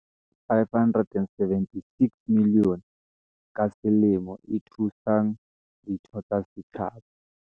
"R576 milione ka selemo e thusang ditho tsa setjhaba."